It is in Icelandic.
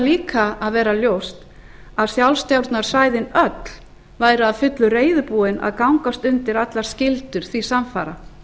líka að vera ljóst að sjálfstjórnarsvæðin öll væru að fullu reiðubúin að gangast undir allar skyldur því samfara